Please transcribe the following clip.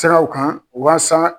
Fɛngɛw kan waasa.